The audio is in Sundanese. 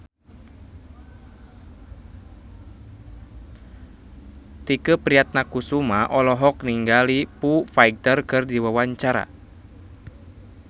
Tike Priatnakusuma olohok ningali Foo Fighter keur diwawancara